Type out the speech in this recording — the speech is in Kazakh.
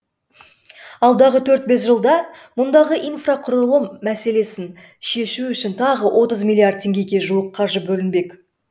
алдағы төрт бес жылда мұндағы инфрақұрылым мәселесін шешу үшін тағы отыз миллиард теңгеге жуық қаржы бөлінбек